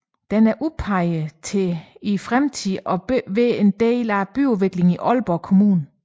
Den er udpeget til også i fremtiden at bære en del af byudviklingen i Aalborg Kommune